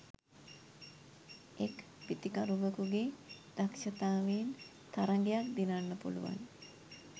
එක් පිතිකරුවෙකුගේ දක්ෂතාවයෙන් තරගයක් දිනන්න පුළුවන්